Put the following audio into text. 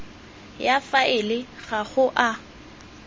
ya faele ga go a